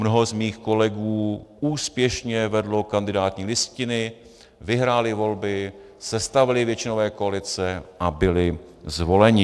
Mnoho z mých kolegů úspěšně vedlo kandidátní listiny, vyhráli volby, sestavili většinové koalice a byli zvoleni.